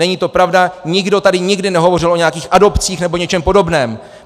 Není to pravda, nikdo tady nikdy nehovořil o nějakých adopcích nebo něčem podobném.